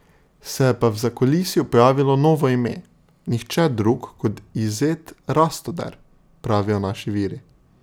Se je pa v zakulisju pojavilo novo ime, nihče drug kot Izet Rastoder, pravijo naši viri.